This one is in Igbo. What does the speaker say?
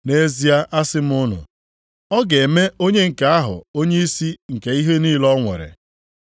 Nʼezie asị m unu, ọ ga-eme onye nke ahụ onyeisi nke ihe niile o nwere.